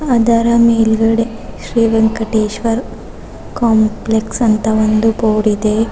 ಅದರ ಮೇಲ್ಗಡೆ ಶ್ರೀ ವೆಂಕಟೇಶ್ವರ್ ಕಾಂಪ್ಲೆಸ್ ಅಂತ ಒಂದು ಬೋರ್ಡ್ ಇದೆ.